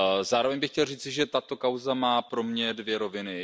Zároveň bych chtěl říci, že tato kauza má pro mě dvě roviny.